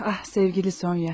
Ah, sevgili Sonya.